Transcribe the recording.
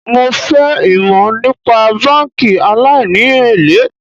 Mo fẹ́ ìmò nípa báńkì aláìní èlé.